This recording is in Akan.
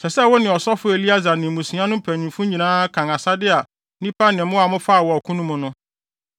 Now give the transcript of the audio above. “Ɛsɛ sɛ wo ne ɔsɔfo Eleasar ne mmusua no mpanyimfo nyinaa kan asade a nnipa ne mmoa a mofaa wɔ ɔko no mu no.